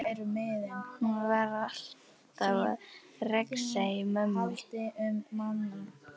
Hún var alltaf að rexa í mömmu.